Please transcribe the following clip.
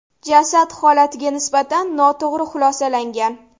Jasad holatiga nisbatan noto‘g‘ri xulosalangan.